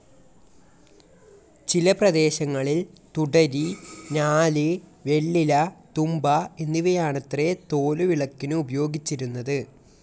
ചില പ്രദേശങ്ങളിൽ തുടരി, ഞാല്, വെള്ളില, തുമ്പ എന്നിവയാണത്രെ തോലുവിളക്കിനു ഉപയോഗിച്ചിരുന്നത്.